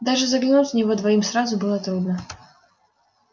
даже заглянуть в него двоим сразу было трудно